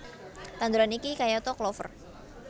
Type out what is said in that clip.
Tanduran iki kayata klover